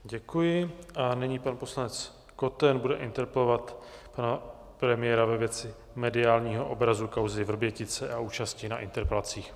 Děkuji a nyní pan poslanec Koten bude interpelovat pana premiéra ve věci mediálního obrazu kauzy Vrbětice a účasti na interpelacích.